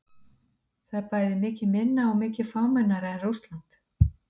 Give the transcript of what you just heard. Það er bæði mikið minna og mikið fámennara en Rússland.